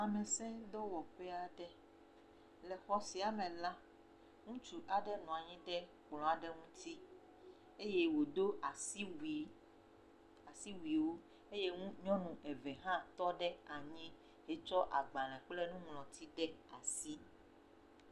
Lamesedɔwɔƒe aɖe. le xɔ sia me la, ŋutsu aɖe nɔ anyi ɖe kplɔ aɖe ŋuti eye wodo asiwui asiwuiwo eye ŋu nyɔnu eve hã tɔ ɖe anyi etsɔ agbale kple nuŋlɔti ɖe asi.